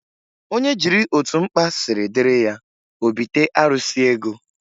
Onye jiri otu mkpa siri diri ya, o bite arụsi ego.